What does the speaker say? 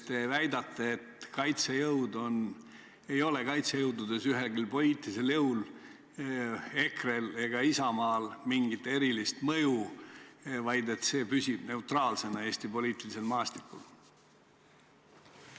Te väidate, et kaitsejõududes ei ole ühelgi poliitilisel jõul, EKRE-l ega Isamaal, mingit erilist mõju, vaid et see püsib Eesti poliitilisel maastikul neutraalsena.